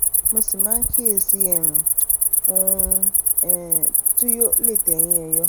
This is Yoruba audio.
mo sì máa ń kíyèsí um ohun um tó lè tèyìn è yọ